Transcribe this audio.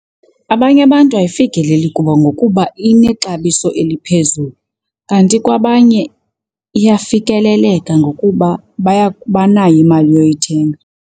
Abanye abantu ayifikeleli kubo ngokuba inexabiso eliphezulu. Kanti kwabanye iyafikeleleka ngokuba banayo imali yoyithenga.